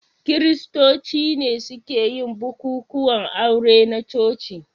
Kiristoci ne suke yin bukukuwan aure na coci.